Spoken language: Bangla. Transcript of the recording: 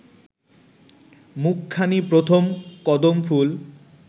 মুখখানি প্রথম কদমফুল